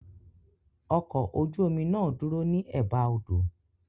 Ọkọ̀ ojú omi náà dúró ní Ẹ̀ba odò.